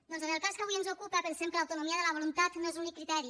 doncs en el cas que avui ens ocupa pensem que l’autonomia de la voluntat no és l’únic criteri